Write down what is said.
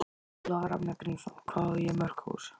Ólafur Ragnar Grímsson: Hvað á ég mörg hús?